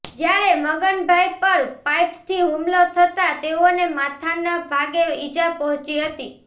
જ્યારે મગનભાઇ પર પાઇપથી હુમલો થતા તેઓને માથાના ભાગે ઇજાપહોંચી હતી